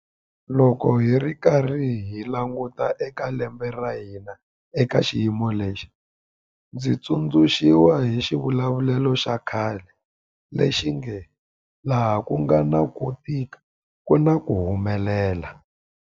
Loko hi karhi hi languta eka lembe ra hina eka xiyimo lexi, ndzi tsundzuxiwa hi xivulavulelo xa khale lexi nge laha ku nga na ku tika ku na ku humelela.